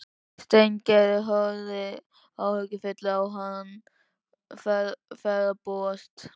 Steingerður horfði áhyggjufull á hann ferðbúast.